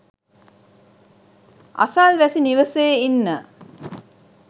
අසල්වැසි නිවසේ ඉන්න